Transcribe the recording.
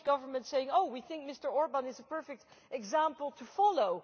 The Polish Government is saying Oh, we think Mr Orbán is a perfect example to follow.'